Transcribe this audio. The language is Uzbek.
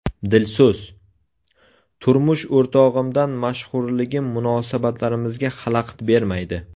Dilso‘z: Turmush o‘rtog‘imdan mashhurligim munosabatlarimizga xalaqit bermaydi.